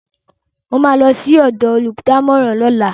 Mo ma lọ sí ọ̀dọ̀ olùdámọ̀ràn lọ́la